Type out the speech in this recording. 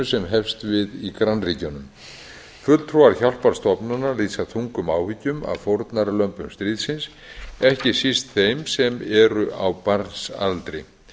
sem hefst við í grannríkjunum fulltrúar hjálparstofnana lýsa þungum áhyggjum af fórnarlömbum stríðsins ekki síst þeim sem enn eru á barnsaldri